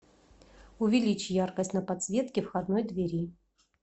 увеличь яркость на подсветке входной двери